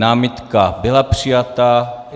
Námitka byla přijata.